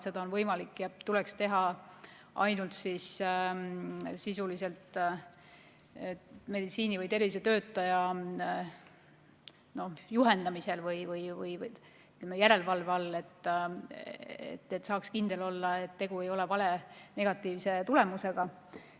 Seda tuleks teha ainult meditsiini- või tervishoiutöötaja juhendamisel või järelevalve all, et saaks kindel olla, et tegu ei ole valenegatiivse tulemusega.